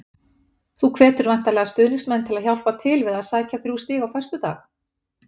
Þú hvetur væntanlega stuðningsmenn til að hjálpa til við að sækja þrjú stig á föstudag?